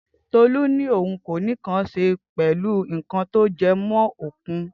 Tolu ni ohun koni nkán ṣé pẹlú nkan to jẹ mọ òkun